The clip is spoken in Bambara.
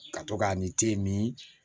Ka to k'a ni